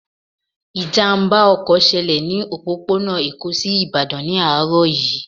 Ìjàmbá ọkọ̀ ṣẹlẹ̀ ní òpópónà Èkó sí Ìbàdàn ní àárọ̀ yìí